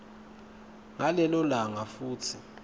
ngalelo langa futsi